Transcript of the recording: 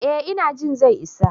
Eh ina jin zai isa.